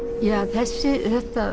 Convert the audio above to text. þessi